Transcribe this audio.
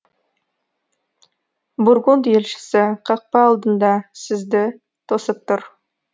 бургунд елшісі қақпа алдында сізді тосып тұр